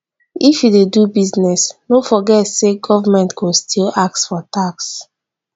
if you dey do business no forget say government go still ask for tax